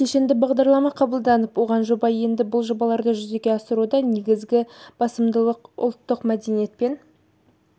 кешенді бағдарлама қабылданып оған жоба енді бұл жобаларды жүзеге асыруда неігізгі басымдық ұлттық мәдениет пен